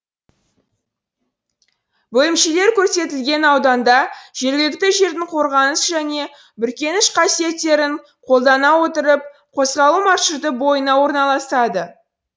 бөлімшелер көрсетілген ауданда жергілікті жердің қорғаныс және бүркеніш қасиеттерін қолдана отырып козғалу маршруты бойына орналасады